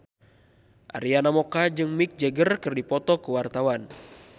Arina Mocca jeung Mick Jagger keur dipoto ku wartawan